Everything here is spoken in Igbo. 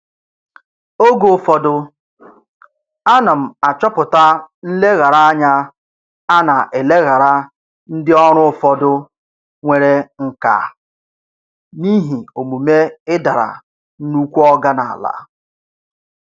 Oge ụfọdụ, ana m achọpụta nlegharanya a na-eleghara ndị ọrụ ụfọdụ nwere nkà n'ihi omume "ịdara nnukwu oga n'ala".